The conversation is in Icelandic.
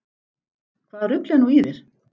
Hvaða rugl er nú í þér?